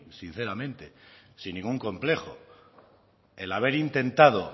sinceramente sin ningún complejo el haber intentado